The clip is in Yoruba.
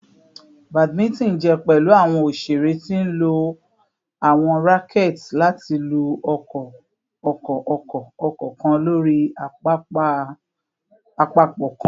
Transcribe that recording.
Badminton jẹ pẹlu awọn oṣere ti nlo awọn racquets lati lu ọkọ-ọkọ-ọkọ-ọkọ kan lori apapọ kan